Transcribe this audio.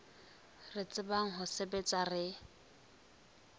re tsebang ho sebetsa re